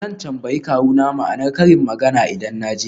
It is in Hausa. Zan tambayi kawuna ma'anar karin magana idan na je gida.